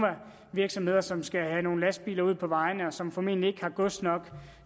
virksomheder som skal have nogle lastbiler ud på vejene og som formentlig ikke har gods nok